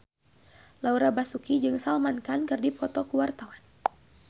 Laura Basuki jeung Salman Khan keur dipoto ku wartawan